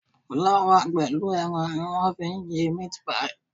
Fúláwà pẹ̀lú ẹran ni wọ́n fi ń ṣe meat pie.